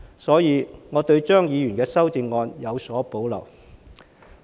所以，我對張議員的修正案有所保留。